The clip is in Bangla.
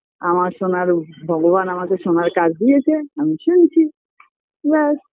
আমার শোনার অভ ভগবান আমাকে শোনার কাজ দিয়েছে আমি শুনছি ব্যাস